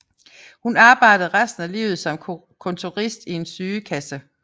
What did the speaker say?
Hun arbejdede resten af livet som kontorist i en sygekasse